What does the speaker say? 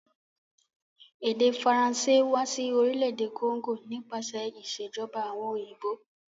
Èdè Faranṣé wa si orílẹ̀dè Congo nípasẹ̀ ìsèjoba àwon òyìnbó